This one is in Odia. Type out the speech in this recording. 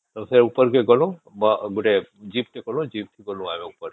ସେ ଉପରକେ କେ ଗଲୁ ଗୋଟେ ଜୀପ ଟେ କଲୁ ଜୀପ ଥେ ଗଲୁ ଆମେ ଉପରେ